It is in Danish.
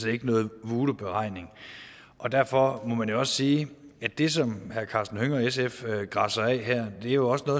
ikke nogen voodooberegning og derfor må man jo også sige at det som herre karsten hønge og sf græsser af her jo også